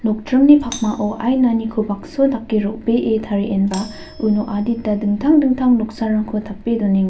nokdringni pakmao ainaniko bakso dake ro·bee tarienba uno adita dingtang dingtang noksarangko tape donenga.